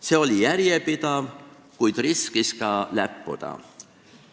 See oli järjepidev, kuid tekkis risk ka läppuda.